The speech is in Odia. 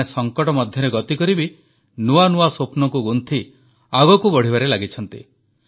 ଏମାନେ ସଙ୍କଟ ମଧ୍ୟରେ ଗତିକରି ବି ନୂଆ ନୂଆ ସ୍ୱପ୍ନକୁ ଗୁନ୍ଥି ଆଗକୁ ବଢ଼ିବାରେ ଲାଗିଛନ୍ତି